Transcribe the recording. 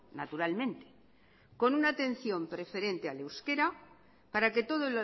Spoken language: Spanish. naturalmente con una atención preferente al euskera para que todo